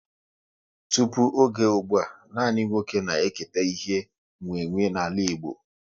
Tụpụ oge ụgbụa, nanị nwa oké na eketa ihe e nwe nwe n'ala Igbo